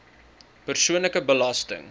persoonlike belasting